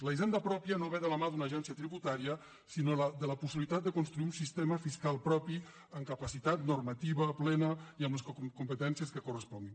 la hisenda pròpia no ve de la mà d’una agència tributària sinó de la possibilitat de construir un sistema fiscal propi amb capacitat normativa plena i amb les competències que corresponguin